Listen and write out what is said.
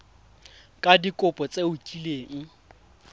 ka dikopo tse o kileng